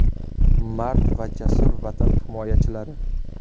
Mard va jasur Vatan himoyachilari!